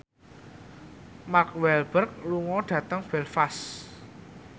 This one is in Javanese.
Mark Walberg lunga dhateng Belfast